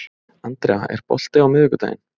Andrea, er bolti á miðvikudaginn?